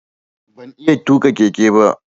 Ban iya tuƙa keke ba.